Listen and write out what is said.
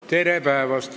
Tere päevast!